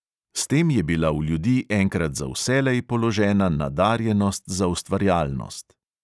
S tem je bila v ljudi enkrat za vselej položena nadarjenost za ustvarjalnost.